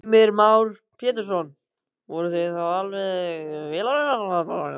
Heimir Már Pétursson: Voruð þið þá alveg vélarvana?